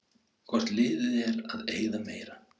Hvort liðið er að eyða meira?